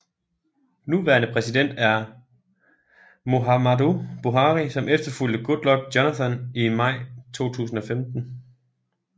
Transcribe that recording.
Nuværende præsident er Muhammadu Buhari som efterfulgte Goodluck Jonathan i maj 2015